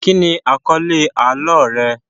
Kíni àkọ́lẹ́ àlọ́ rẹ?